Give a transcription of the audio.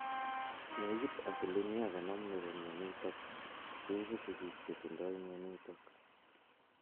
Nekit 50% nepo mianitok koipu sigik che tindoi mianitok